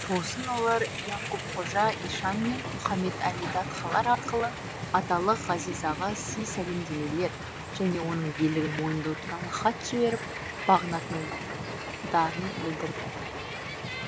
сосын олар яқупқожа ишан мен мұхаммед әли датқалар арқылы аталық ғазиға сый сәлемдемелер және оның билігін мойындау туралы хат жіберіп бағынатындарын білдірді